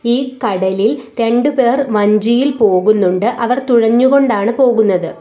ഈ കടലിൽ രണ്ട് പേർ വഞ്ചിയിൽ പോകുന്നുണ്ട് അവർ തുഴഞ്ഞ് കൊണ്ടാണ് പോകുന്നത്.